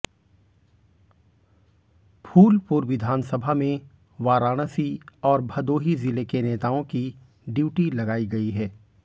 फूलपुर विधानसभा में वाराणसी और भदोही जिले के नेताओं की ड्यूटी लगाई गई है